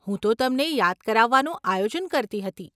હું તો તમને યાદ કરાવવાનું આયોજન કરતી હતી.